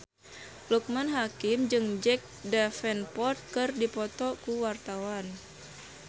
Loekman Hakim jeung Jack Davenport keur dipoto ku wartawan